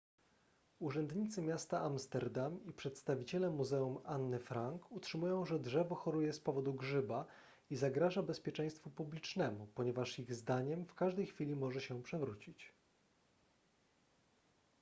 urzędnicy miasta amsterdam i przedstawiciele muzeum anny frank utrzymują że drzewo choruje z powodu grzyba i zagraża bezpieczeństwu publicznemu ponieważ ich zdaniem w każdej chwili może się przewrócić